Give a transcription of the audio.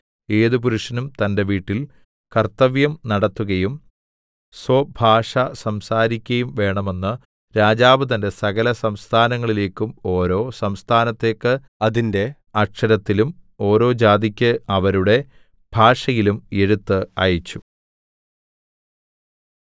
ഏത് പുരുഷനും തന്റെ വീട്ടിൽ കർത്തവ്യം നടത്തുകയും സ്വഭാഷ സംസാരിക്കയും വേണമെന്ന് രാജാവ് തന്റെ സകലസംസ്ഥാനങ്ങളിലേക്കും ഓരോ സംസ്ഥാനത്തേക്ക് അതിന്റെ അക്ഷരത്തിലും ഓരോ ജാതിക്ക് അവരുടെ ഭാഷയിലും എഴുത്ത് അയച്ചു